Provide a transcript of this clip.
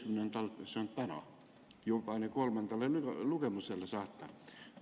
see on täna, kolmandale lugemisele saata.